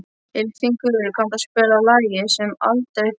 Ylfingur, kanntu að spila lagið „Sem aldrei fyrr“?